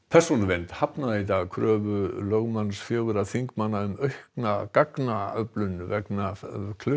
persónuvernd hafnaði í dag kröfu lögmanns fjögurra þingmanna um aukna gagnaöflun vegna